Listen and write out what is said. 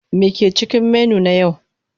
Me ke cikin menu na yau?